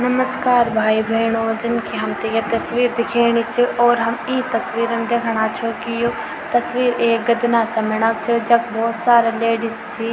नमस्कार भाई भैणों जन की हमथे य तस्वीर दिखेणी च और हम ई तस्वीर म दिखणा छौ कि यो तस्वीर एक गदना समणा क च जख भौत सारा लेडीज छि।